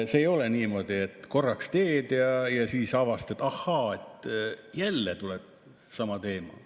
See ei ole niimoodi, et korraks teed ja siis avastad, et ahaa, jälle sama teema.